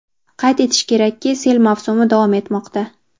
Qayd etish kerakki, sel mavsumi davom etmoqda.